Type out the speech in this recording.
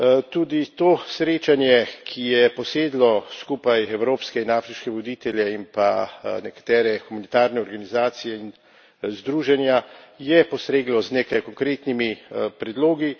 Tudi to srečanje, ki je posedlo skupaj evropske in afriške voditelje in pa nekatere humanitarne organizacije in združenja, je postreglo z nekaj konkretnimi predlogi